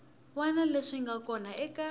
wana leswi nga kona eka